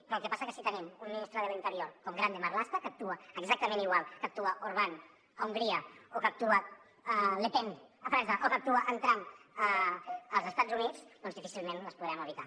però el que passa és que si tenim un ministre de l’interior com grande marlaska que actua exactament igual que actua orban a hongria o que actua le pen a frança o que actua en trump als estats units doncs difícilment les podrem evitar